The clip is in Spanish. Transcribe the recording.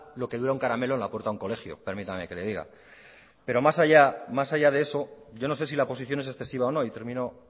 lo que dura un caramelo en la puerta de un colegio permítame que le diga pero más allá de eso yo no sé si la oposición es excesiva o no y termino